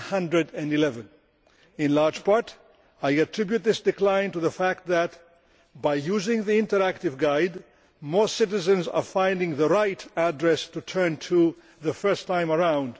111. In large part, I attribute this decline to the fact that, by using the interactive guide, more citizens are finding the right address to turn to the first time round.